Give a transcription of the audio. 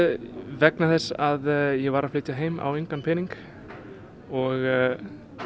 vegna þess að ég var að flytja heim á engan pening og